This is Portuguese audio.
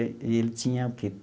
E ele tinha o quê?